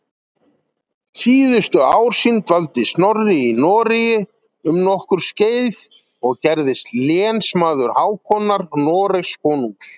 Síðustu ár sín dvaldi Snorri í Noregi um nokkurt skeið og gerðist lénsmaður Hákonar Noregskonungs.